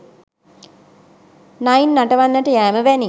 නයින් නටවන්නට යෑම වැනි